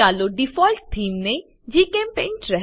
ચાલો default theme ને જીચેમ્પેઇન્ટ